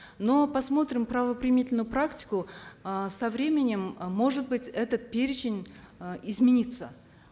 но посмотрим правоприменительную практику э со временем э может быть этот перечень э изменится